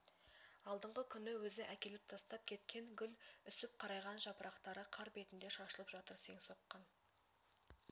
алдыңғы күні өзі әкеліп тастап кеткен гүл үсіп қарайған жапырақтары қар бетінде шашылып жатыр сең соққан